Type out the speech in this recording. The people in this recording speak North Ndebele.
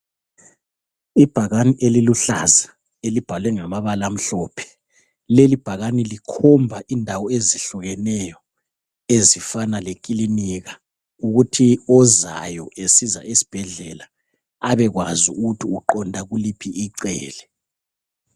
Ibhakani eliluhlaza elibhalwe ngamabala amhlophe, lelibhakani likhomba indawo ezihlukeneyo ezifana lekilinika ukuthi ozayo esiza esibhedlela, abekwazi ukuthi uqonda kuliphi icele.